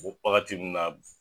Bubaga ti min na.